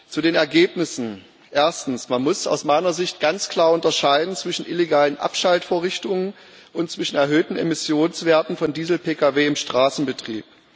Zu den Ergebnissen Erstens Man muss aus meiner Sicht ganz klar unterscheiden zwischen illegalen Abschaltvorrichtungen und erhöhten Emissionswerten von Diesel-PKW im Straßenbetrieb.